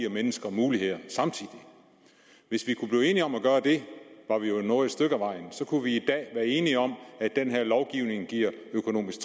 mennesker muligheder hvis vi kunne blive enige om at gøre det var vi jo nået et stykke ad vejen så kunne vi i dag være enige om at den her lovgivning giver økonomisk